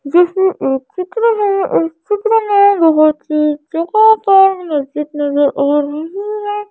ये एक चित्र है इस चित्र में नज़र आ रही है।